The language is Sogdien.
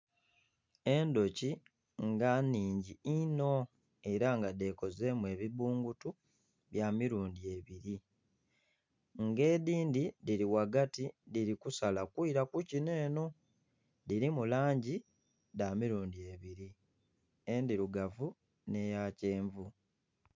Endhuki nga nnhingi inho era nga dhekozeemu ebibbungutu bya mirundhi ebiri. Nga edhindhi dhiri ghagati dhiri kusala kwira kukino eno, dhirimu langi dha mirundhi ebiri endhirugavu n'eya kyenvu.